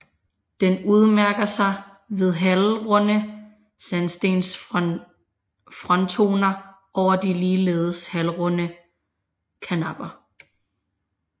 Den udmærker sig ved halvrunde sandstensfrontoner over de ligeledes halvrunde karnapper